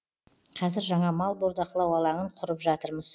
қазір жаңа мал бордақылау алаңын құрып жатырмыз